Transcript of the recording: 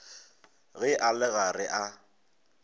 ge a le gare a